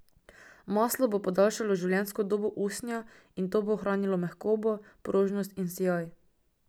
Maslo bo podaljšalo življenjsko dobo usnja in to bo ohranilo mehkobo, prožnost in sijaj.